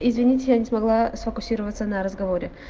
извините я не смогла сфокусироваться на разговоре